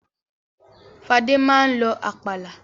Fadé máa ń lọ àpàlà.